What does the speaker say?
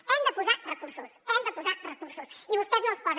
hi hem de posar recursos hi hem de posar recursos i vostès no els hi posen